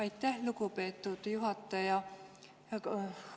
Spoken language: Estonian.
Aitäh, lugupeetud juhataja!